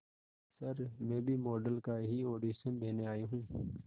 sir मैं भी model का ही ऑडिशन देने आई हूं